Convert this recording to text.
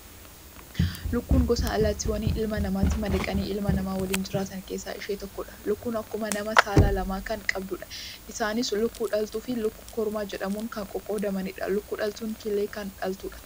Lukkuun gosa allaattiiwwan ilma namaatti madaqanii ilma namaa waliin jiraatan keessaa ishee tokkodha. Lukkuun akkuma namaa saala lama kan qabdudha. Isaanis lukkuu dhaltuu fi lukkuu kormaa jedhamuun kan qoqqoodamanidha. Lukkuu dhaltuun killee kan dhaltudha.